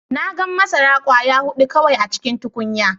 Na gan masara kwaya hudu kawai a cikin tukunya.